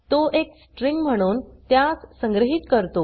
तो एक स्ट्रिंग म्हणून त्यास संग्रहीत करतो